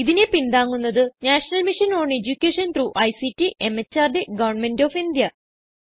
ഇതിനെ പിന്താങ്ങുന്നത് national mission on education through ICT MHRD government of India